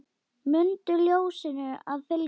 Mundu ljósinu að fylgja.